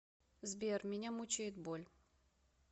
сбер меня мучает боль